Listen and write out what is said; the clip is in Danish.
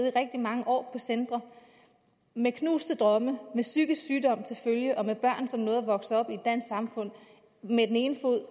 i rigtig mange år med knuste drømme med psykisk sygdom til følge med børn som nåede at vokse op med den ene fod